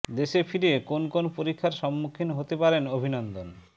দেশে ফিরে কোন কোন পরীক্ষার সম্মুখীন হতে পারেন অভিনন্দন